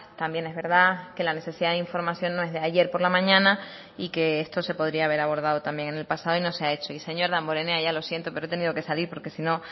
también es verdad que la necesidad de información no es de ayer por la mañana y que esto se podría haber abordado también en el pasado y no se ha hecho y señor damborenea ya lo siento pero he tenido que salir porque si no